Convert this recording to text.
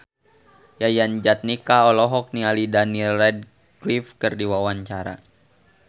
Yayan Jatnika olohok ningali Daniel Radcliffe keur diwawancara